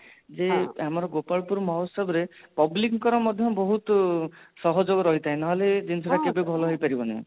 ଯେ ଆମର ଗୋପାଳପୁର ମହୋଚ୍ଚବ ରେ public ଙ୍କର ମଧ୍ୟ ବହୁତ ସହଯୋଗ ରହିଥାଏ ନ ହେଲେ ଜିନିଷ ଟା କେବେ ଭଲ ହେଇପାରିବନି